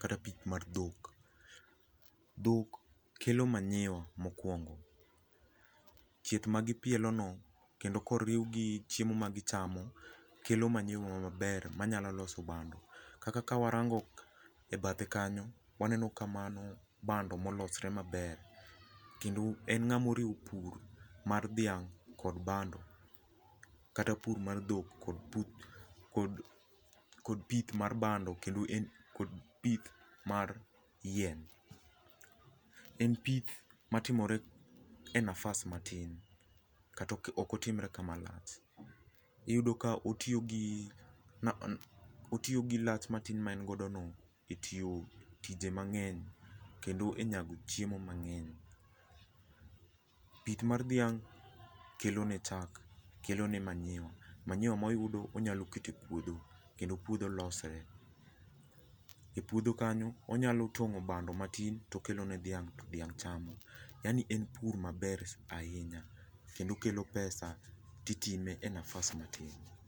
kata pith mar dhok. Dhok kelo manure mokuongo. Chieth ma gi pielono kendo koriw gi chiemo ma gi chamo kelo manure maber manyalo loso bando kaka ka warango ebathe kanyo ,waneno ka mano bando molosre maber kendo en ng'ama oriwo pur mar dhiang' kod bando kata pur mar dhok kod pith mar bando kendo en kod pith mar yien. En pith matimore e nafas matin kata ok otimre kama lach. Iyudo ka otiyogi lach matin ma en godono etiyo tije mang'eny kendo enyago chiemo mang'eny. Pith mar dhiang' kelone chak kelone manure. manure moyudo onyalo keto epuodho kendo puodho losre. Epuodho kanyo onyalo tong'o bando matin to okelo ne dhiang' to dhiang' chamo yani en pur maber ahinya kendo okelo pesa ti itime e nafas matin